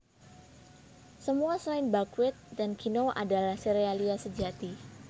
Semua selain buckwheat dan kinoa adalah serealia sejati